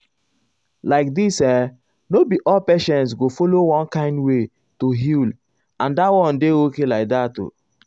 like this[um]no be all patients go follow one kind way to heal and dat one dey okay like that.